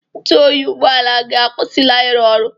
Ntụ oyi ụgbọala gị akwụsịla ịrụ ọrụ.